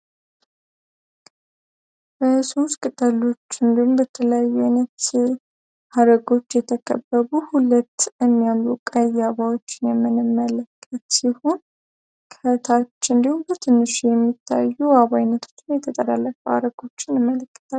በሦስት ቅጠሎች እንዲሁም በተለያዩ ሃረጎች የተከበቡ ሁለት የሚያምሩ ቀይ አበባዎችን የምንመለከት ሲሆን ቀጫጭን ሆኖ የሚታዩ አበቦችንም እናያለን።